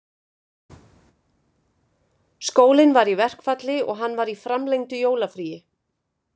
Skólinn var í verkfalli og hann var í framlengdu jólafríi